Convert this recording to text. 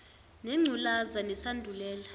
nengcu laza nesandulela